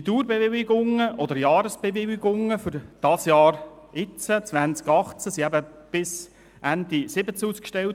Die Dauer- oder Jahresbewilligungen für 2018 wurden bis Ende 2017 ausgestellt.